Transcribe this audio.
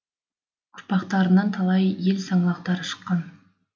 урпақтарынан талай ел саңлақтары шыққан